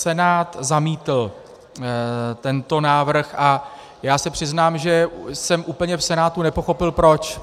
Senát zamítl tento návrh a já se přiznám, že jsem úplně v Senátu nepochopil proč.